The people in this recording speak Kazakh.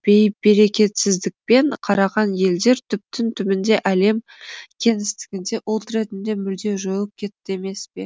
бейберекетсіздікпен қараған елдер түптің түбінде әлем кеңістігінде ұлт ретінде мүлде жойылып кетті емес пе